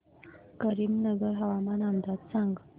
करीमनगर हवामान अंदाज सांग